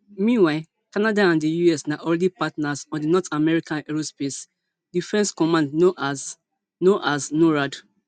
meanwhile canada and di us na already partners on di north american aerospace defense command known as known as norad